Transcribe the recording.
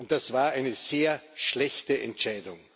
Das war eine sehr schlechte Entscheidung.